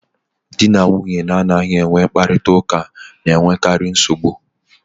Di na nwunye na-anaghị enwe mkparịta ụka na-enwekarị nsogbu.